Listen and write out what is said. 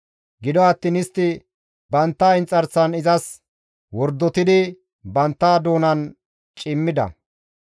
Gido attiin istti bantta inxarsan izas wordotidi bantta doonan cimmida.